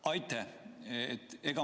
Aitäh!